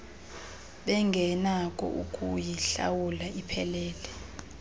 bengenakho ukuyihlawula iphelele